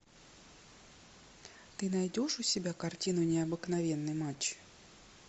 ты найдешь у себя картину необыкновенный матч